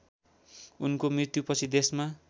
उनको मृत्युपछि देशमा